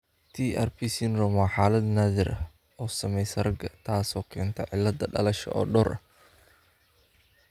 TARP syndrome waa xaalad naadir ah oo saamaysa ragga taasoo keenta cillado dhalasho oo dhowr ah.